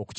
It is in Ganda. okukibalagira.